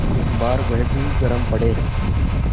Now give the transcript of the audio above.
एक बार वह भी गरम पड़े